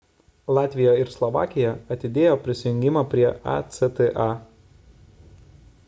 latvija ir slovakija atidėjo prisijungimą prie acta